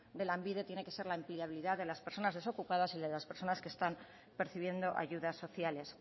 de lanbide tiene que ser la empleabilidad de las personas desocupadas y de las personas que están percibiendo ayudas sociales